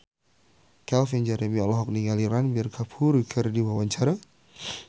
Calvin Jeremy olohok ningali Ranbir Kapoor keur diwawancara